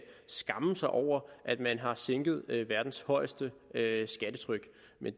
skamme sig over at man har sænket verdens højeste skattetryk